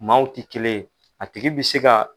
Maaw tɛ kelen yen a tigi bɛ se ka.